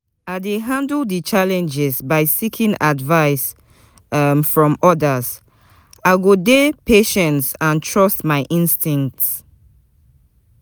i dey handle di challenges by seeking advice um from odas, i go dey patient and trust my instincts.